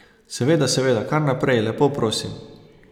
Seveda, seveda, kar naprej, lepo prosim.